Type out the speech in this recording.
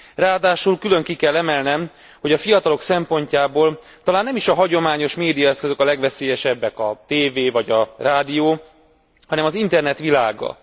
Ráadásul külön ki kell emelnem, hogy a fiatalok szempontjából talán nem is a hagyományos médiaeszközök a legveszélyesebbek, a tévé vagy a rádió, hanem az internet világa.